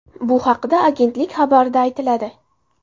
Bu haqda agentlik xabarida aytiladi .